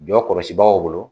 Jɔ kɔlɔsibaw bolo